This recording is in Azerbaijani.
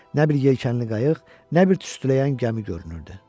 Nə bir yelkənli qayıq, nə bir tüstüləyən gəmi görünürdü.